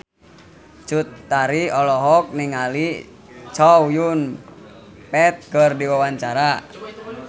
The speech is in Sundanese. Cut Tari olohok ningali Chow Yun Fat keur diwawancara